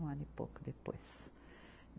Um ano e pouco depois.